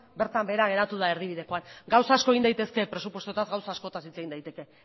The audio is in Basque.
bertan behera geratu da erdibidekoan gauza asko egin daitezke presupuestoetaz gauza askotaz hitz egin daiteke